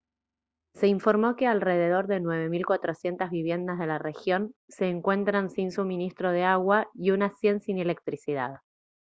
se informó que alrededor de 9400 viviendas de la región se encuentran si suministro de agua y unas 100 sin electricidad